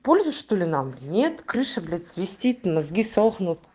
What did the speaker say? польза что ли нам нет крыша блять свистит мозги сохнут